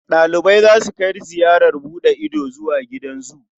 Ɗalibai za su kai ziyarar buɗe ido zuwa gidan zu.